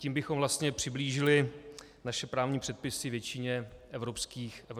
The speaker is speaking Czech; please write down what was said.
Tím bychom vlastně přiblížili naše právní předpisy většině evropských zemí.